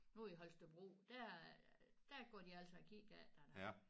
Nu i Holstebro der der går de altså og kigger efter dig